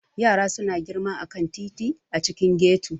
Yara suna girma a kan titi a cikin ghetto.